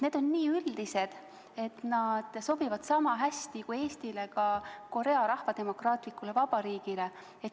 Need on nii üldised eesmärgid, et sobivad sama hästi nii Eestile kui ka Korea Rahvademokraatlikule Vabariigile.